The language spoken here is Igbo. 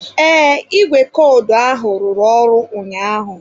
Ee, ìgwè kọdụ ahụ ruru ọrụ ụnyaahụ.